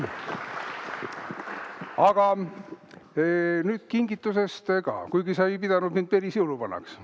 Aga nüüd kingitusest ka, kuigi sa ei pidanud mind päris jõuluvanaks.